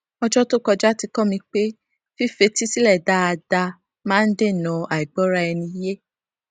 ọjọ tó kọjá ti kọ mi pé fífetí sílẹ dáadáa máa ń dènà àìgbọra ẹni yé